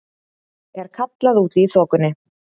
er kallað úti í þokunni.